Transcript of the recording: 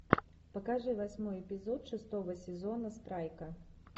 покажи восьмой эпизод шестого сезона страйка